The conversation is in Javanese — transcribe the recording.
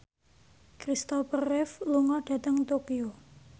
Christopher Reeve lunga dhateng Tokyo